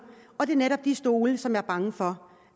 og det er netop de stole som jeg er bange for